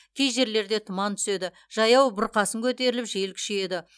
кей жерлерде тұман түседі жаяу бұрқасын көтеріліп жел күшейеді